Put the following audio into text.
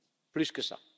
Plus que